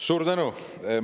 Suur tänu!